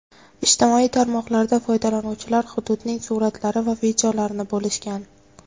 Ijtimoiy tarmoqlarda foydalanuvchilar hududning suratlari va videolarini bo‘lishgan.